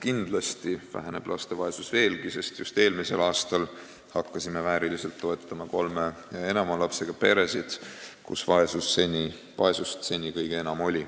Kindlasti on laste vaesus veelgi vähenenud, sest just eelmisel aastal hakkasime vääriliselt toetama kolme ja enama lapsega peresid, kus seni oli vaesust kõige enam.